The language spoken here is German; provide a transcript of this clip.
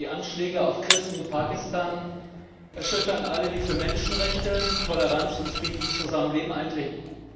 Die Anschläge auf Christen in Pakistan erschüttern alle, die für Menschenrechte, Toleranz und friedliches Zusammenleben eintreten.